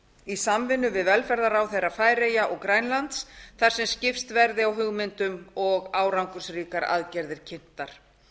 í samvinnu við velferðarráðherra færeyja og grænlands þar sem skipst verði á hugmyndum og árangursríkar aðgerðir kynntar